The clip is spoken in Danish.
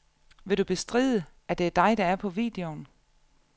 Vil du bestride, at det er dig, der er på videoen?